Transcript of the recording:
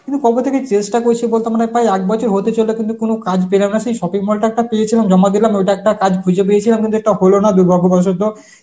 মু কবে থেকে চেষ্টা করছি বলতো মানে প্রায় এক বছর হতে চলল কিন্তু কোন কাজ পেলাম না সেই shopping mall টার টা পেয়েছিলাম জমা দিলাম, ওইটা একটা কাজ খুঁজে পেয়েছিলাম কিন্তু ওটা হলো না দুর্ভাগ্যবশত